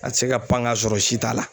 A tɛ se ka pan ka sɔrɔ si t'a la.